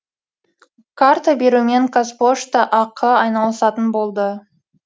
карта берумен қазпошта ақ айналысатын болады